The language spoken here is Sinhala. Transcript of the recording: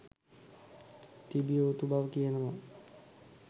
තිබිය යුතු බව කියනවා